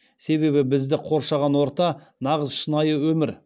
себебі бізді қоршаған орта нағыз шынайы өмір